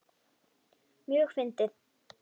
Mjög fyndið.